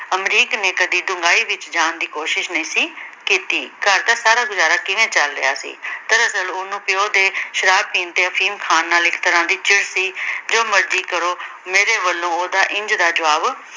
ਅਮਰੀਕ ਨੇ ਕਦੀ ਢੂੰਘਾਈ ਵਿੱਚ ਜਾਣ ਦੀ ਕੋਸ਼ਿਸ਼ ਨਹੀਂ ਸੀ ਕੀਤੀ। ਘਰ ਦਾ ਸਾਰਾ ਗੁਜ਼ਾਰਾ ਕਿਵੇਂ ਚੱਲ ਰਿਹਾ ਸੀ। ਦਰਅਸਲ ਓਹਨੂੰ ਪਿਉ ਦੇ ਸ਼ਰਾਬ ਪੀਣ ਤੇ ਅਫੀਮ ਨਾਲ ਚਿੜ ਸੀ, ਜੋ ਮਰਜੀ ਕਰੋ ਮੇਰੇ ਵਲੋਂ ਉਹਦਾ ਇੰਝ ਦਾ ਜਵਾਬ